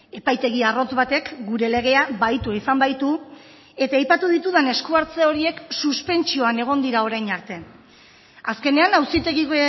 epaitegi arrotz batek gure legea bahitu izan baitu eta aipatu ditudan eskuhartze horiek suspentsioan egon dira orain arte azkenean auzitegi